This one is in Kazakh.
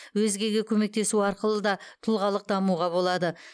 өзгеге көмектесу арқылы да тұлғалық дамуға болады